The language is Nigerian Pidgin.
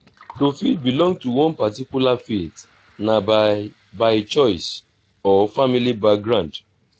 to fit belong to one particular faith na by by choice or family background